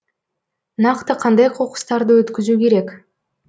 нақты қандай қоқыстарды өткізу керек